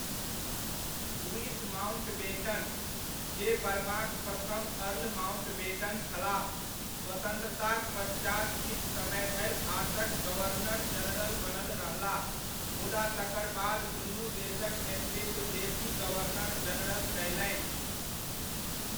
Louis Mountbatten, जे बर्माक प्रथम अर्ल माउण्टबेटन छलाह, स्वतन्त्रताक पश्चात किछु समय धरि भारतक गवर्नर जनरल बनल रहलाह मुदा तकर बाद दुनू देशक नेतृत्व देसी गवर्नर जनरल कयलनि।